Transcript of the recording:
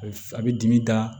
A bɛ f a bɛ dimi da